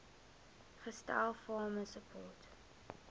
gestel farmer support